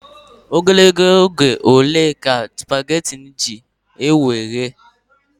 Ogologo oge ole ka sụpaghetị na-ewe iji ehe?